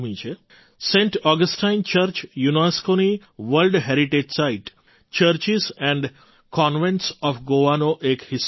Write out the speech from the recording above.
Saint Augustine church યુનેસ્કોની world heritage site churches and convents of GOA નો એક હિસ્સો છે